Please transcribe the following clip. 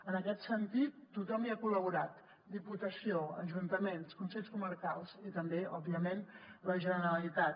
en aquest sentit tothom hi ha col·laborat diputació ajuntaments consells comarcals i també òbviament la generalitat